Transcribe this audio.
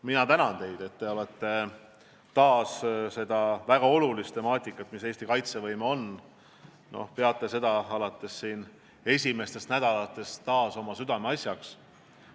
Mina tänan teid, et te peate seda väga olulist temaatikat, mida Eesti kaitsevõime endast kujutab, juba alates esimestest nädalatest taas oma südameasjaks.